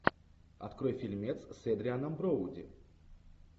открой фильмец с эдрианом броуди